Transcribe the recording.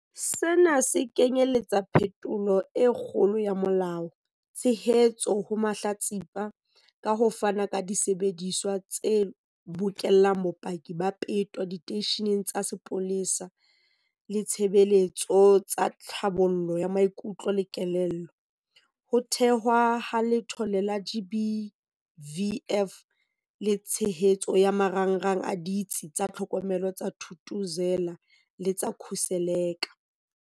Sena se kenyeletsa phetholo e kgolo ya molao, tshehetso ho mahlatsipa ka ho fana ka disebediswa tse bokellang bopaki ba peto diteisheneng tsa sepolesa le ditshebeletso tsa tlhabollo ya maikutlo le kelello, ho thehwa ha Letlole la GBVF le tshehetso ya marangrang a Ditsi tsa Tlhokomelo tsa Thuthuzela le tsa Khuseleka.